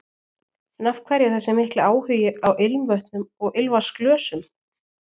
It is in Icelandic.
En af hverju þessi mikli áhugi á ilmvötnum og ilmvatnsglösum?